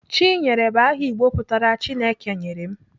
Chinyere bụ aha Igbo pụtara "Chineke nyere m."